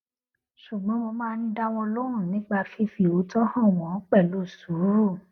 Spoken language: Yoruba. ṣùgbọn mo máa n dá wọn lóhùn nípa fífi òótọ hàn wọn pẹlú sùúrù